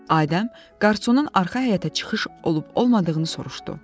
Adəm qarsunun arxa həyətə çıxışı olub-olmadığını soruşdu.